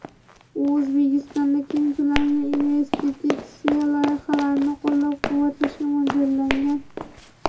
U O‘zbekistonda keng ko‘lamli investitsiya loyihalarini qo‘llab-quvvatlashga mo‘ljallangan.